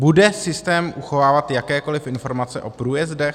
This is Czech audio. Bude systém uchovávat jakékoliv informace o průjezdech?